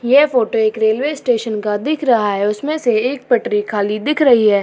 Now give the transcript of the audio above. यह फोटो एक railway station का दिख रहा है। उसमे से एक पटरी खाली दिख रही है।